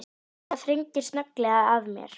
En það þrengir snögglega að mér.